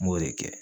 N b'o de kɛ